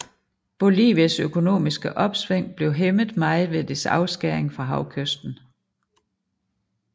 Bolivias økonomiske opsving blev hæmmet meget ved dets afskæring fra havkysten